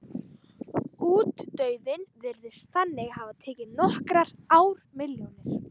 Útdauðinn virðist þannig hafa tekið nokkrar ármilljónir.